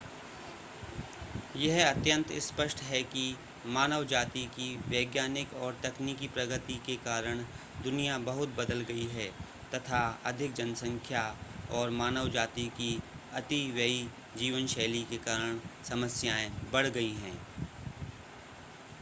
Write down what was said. यह अत्यंत स्पष्ट है कि मानव जाति की वैज्ञानिक और तकनीकी प्रगति के कारण दुनिया बहुत बदल गई है तथा अधिक जनसंख्या और मानव जाति की अतिव्यई जीवन शैली के कारण समस्याएं बढ़ गई हैं